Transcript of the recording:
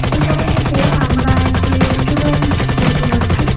এই ছবিটিতে আমরা একটি রেস্টুরেন্ট দেখতে পাচ্ছি।